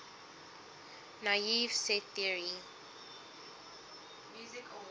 naive set theory